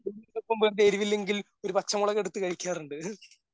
എരിവില്ലെങ്കിൽ ഒരു പച്ചമുളകെടുത്ത് കഴിക്കാറുണ്ട്.